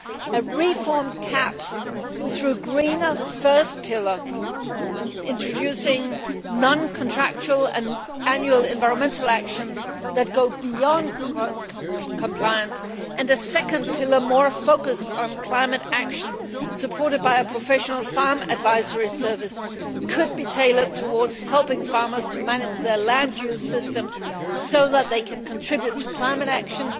A reformed CAP with a greener first pillar, introducing non contractual and annual environmental actions that go beyond cross compliance, and a second pillar more focused on climate action, supported by a professional farm advisory service, could be tailored towards helping farmers to manage their land use systems so as to contribute to climate action